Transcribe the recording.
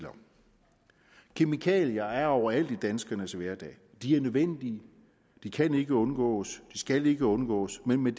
kemikalier er overalt i danskernes hverdag de er nødvendige kan ikke undgås skal ikke undgås men med